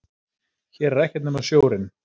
Hér er ekkert nema sjórinn.